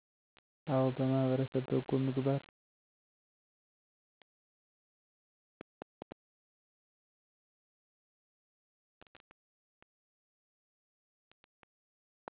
አወ በማህበረሰብ በጎ ምግባር